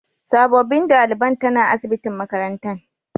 Sabobin dalibain tana asibitin makarantan.